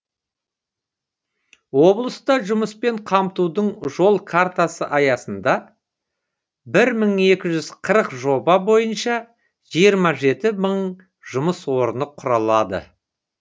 облыста жұмыспен қамтудың жол картасы аясында бір мың екі жүз қырық жоба бойынша жиырма жеті мың жұмыс орны құрылады